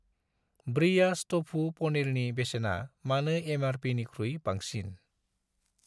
Breyers टफु पनिरनि बेसेना मानो एम.आर.पि.निख्रुइ बांसिन?